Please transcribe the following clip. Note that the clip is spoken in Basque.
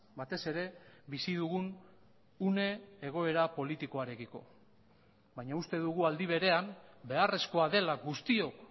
batez ere bizi dugun une egoera politikoarekiko baina uste dugu aldi berean beharrezkoa dela guztiok